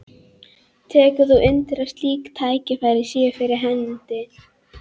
Tekur þú undir að slík tækifæri séu fyrir hendi?